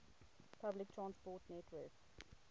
public transport network